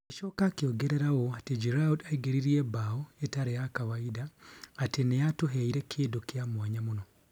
Agĩcoka akĩongerera ũũ: " ati Giroud' aingĩririe mbao itarĩ ĩtaarĩ ya kawainda atĩ nĩ aatũheire kĩndũ kĩa mwanya mũno